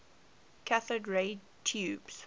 cathode ray tubes